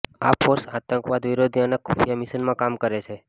આ ફોર્સ આતંકવાદ વિરોધી અને ખુફિયા મિશનમાં કામ કરે છે